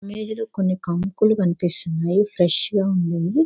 మీద కొన్ని కంకులు కనిపిస్తున్నాయి. ఫ్రెష్ గా ఉన్నాయి.